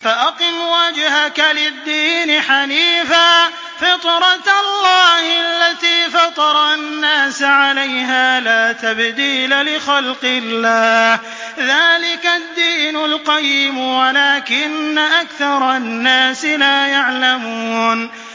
فَأَقِمْ وَجْهَكَ لِلدِّينِ حَنِيفًا ۚ فِطْرَتَ اللَّهِ الَّتِي فَطَرَ النَّاسَ عَلَيْهَا ۚ لَا تَبْدِيلَ لِخَلْقِ اللَّهِ ۚ ذَٰلِكَ الدِّينُ الْقَيِّمُ وَلَٰكِنَّ أَكْثَرَ النَّاسِ لَا يَعْلَمُونَ